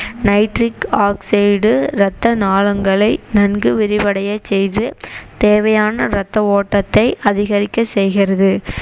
nitric oxide டு ரத்த நாளங்களை நன்கு விரிவடையச் செய்து தேவையான ரத்த ஓட்டத்தை அதிகரிக்க செய்கிறது